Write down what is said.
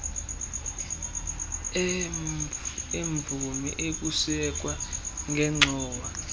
eemvumi ukusekwa kwengxowa